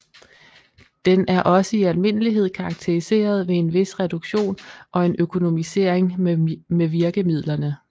Den er også i almindelighed karakteriseret ved en vis reduktion og en økonomisering med virkemidlerne